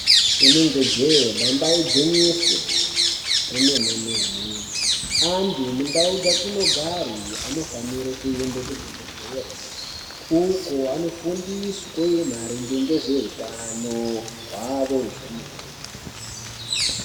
Inenge jehe, damba igwinyiso remenemene antu mundau dzatinogare anofanire kuenda kuzvibhedlere kuko vanofundiswe maringe ngezvehutano hwavo zvemene.